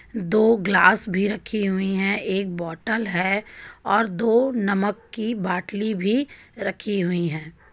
दो गिलास भी रखी हुई है एक बोटल है और दो नमक की बाटली भी रखी हुई है.